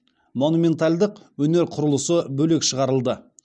монументальдық өнер құрылысы бөлек шығарылды